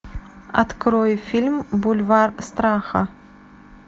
открой фильм бульвар страха